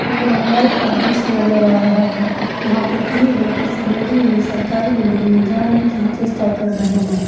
ये बंगाल का दृश्य नज़र आ रहा है। यहाँ पे तीन लोग किसी बिल्डिंग में सरकारी बिल्डिंग में जाने की चेष्टा कर रहे हैं।